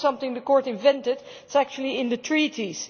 It is not something the Court invented it is actually in the Treaties.